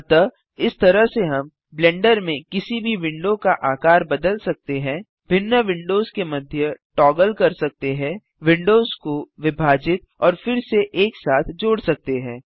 अतः इस तरह से हम ब्लेंडर में किसी भी विंडो का आकार बदल सकते हैं भिन्न विंडोज के मध्य टॉगल कर सकते हैं विंडोज को विभाजित और फिर से एक साथ जोड़ सकते हैं